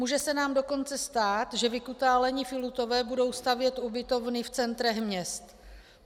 Může se nám dokonce stát, že vykutálení filutové budou stavět ubytovny v centrech měst.